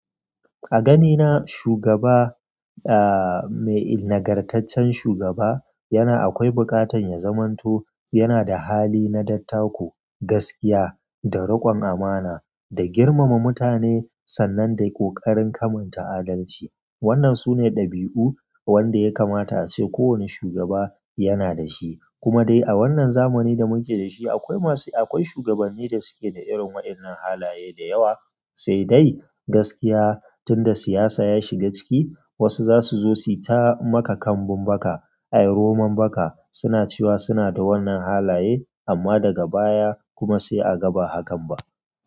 A ganina shugaba, ahhh, mai nagartaccen shugaba yana akwai buƙatan ya zamanto yana da hali na dattako, gaskiya da riƙon amana da girmama mutane sannan da ƙoƙarin kamanta adalci. Wannan sune ɗabi'u wanda ya kamata ace ko wanne shugaba yana da shi. Kuma dai a wannan zamani da muke da shi akwai masu, akwai shugabanni da suke da irin waɗannan halaye da yawa, sai dai gaskiya tunda siyasa ya shiga ciki, wasu zasu zo su yi ta maka kambun baka, ay roman baka, suna cewa suna da wannan halaye amma daga baya kuma sai a ga ba hakan ba.